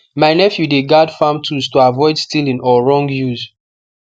my nephew dey guard farm tools to avoid stealing or wrong use